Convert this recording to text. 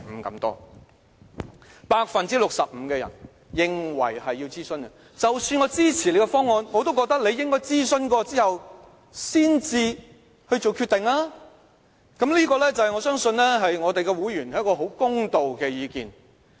有 65% 的人認為要諮詢，即使他們支持政府的方案，但也覺得政府應該諮詢後才作決定，我相信這是我們會員很公道的意見。